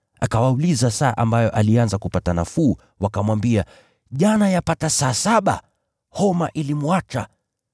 Akawauliza saa ambayo alianza kupata nafuu. Wakamwambia, “Jana yapata saa saba, homa ilimwacha.”